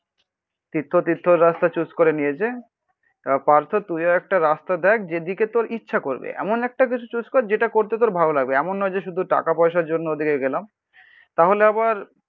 তীর্থ তীর্থর রাস্তা চুজ করে নিয়েছে পার্থ তুই একটা রাস্তা দেখ যেদিকে তোর ইচ্ছা করবে. এমন একটা কিছু চুজ কর. যেটা করতে তোর ভালো লাগবে. এমন নয় যে শুধু টাকা পয়সার জন্য ওদিকে গেলাম. তাহলে আবার